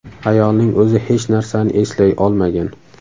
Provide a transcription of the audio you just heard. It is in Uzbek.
Ayolning o‘zi hech narsani eslay olmagan.